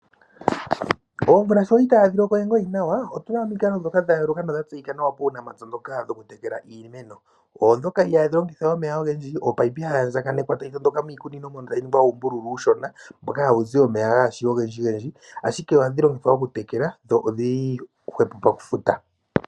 Omvula sho itaayi loko we nawa opu na omikalo ndhoka dha yooloka nodha tseyika nawa muunapya ndhoka dhoku tekela iimeno. Odho ndhoka ihaadhi longitha omeya ogendji. Omunino ohagu andjaganekwa tagu tondoka miikunino tadhi ningwa uumbululu uushona mboka hawu zi omeya gaa shi ogendjigendji, ashike ohadhi longithwa okutekela, dho odhi li hwepo pokufuta.